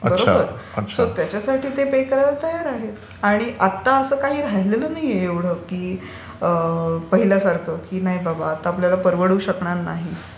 बरोबर? सो त्याच्यासाठी ते पे करायला तयार आहेत. आणि आता असं काही राहिलेलं नाहीये एवढं की पहिल्यासारखं की नाही बाबा आता आपल्याला परवडू शकणार नाही.